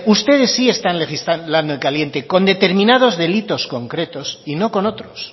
ustedes sí están legislando en caliente con determinados delitos concretos y no con otros